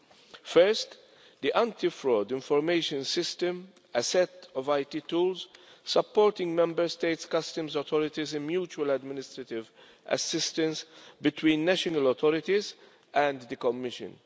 The first is the Anti Fraud Information System, a set of IT tools supporting Member States' customs authorities in mutual administrative assistance between national authorities and the Commission.